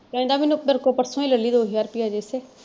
ਕਹਿੰਦਾ ਮੇਰੇ ਕੋਲੋਂ ਪਰਸੋਂ ਹੀ ਲੈ ਲਈ ਦੋ ਹਜ਼ਾਰ ਰੁਪਇਆ ਜੇਸੇ।